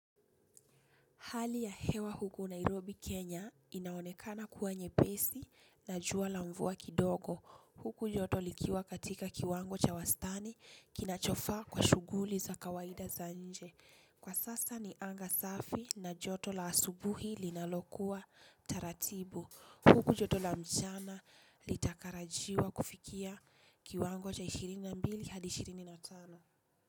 Hali ya hewa huku Nairobi Kenya inaonekana kuwa nyepesi na jua la mvua kidogo. Huku joto likiwa katika kiwango cha wastani kinachofaa kwa shughuli za kawaida za nje. Kwa sasa ni anga safi na joto la asubuhi linalokuwa taratibu. Huku joto la mchana litatarajiwa kufikia kiwango cha ishirini na mbili had ishirini na tano.